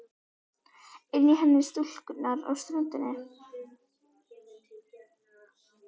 Inn í heim stúlkunnar á ströndinni.